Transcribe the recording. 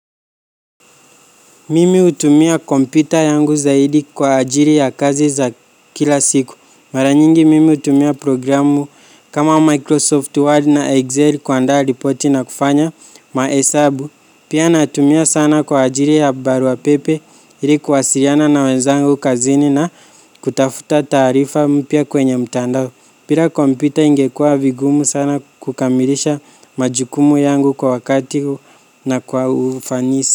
Mimi hutumia kompyuta yangu zaidi kwa ajili ya kazi za kila siku. Mara nyingi, mimi hutumia programu kama Microsoft Word na Excel kuandaa ripoti na kufanya mahesabu. Pia natumia sana kwa ajili ya barua pepe ili kuwasiliana na wenzangu kazini na kutafuta taarifa mpya kwenye mtandao. Bila kompyuta ingekua vigumu sana kukamilisha majukumu yangu kwa wakati na kwa ufanisi.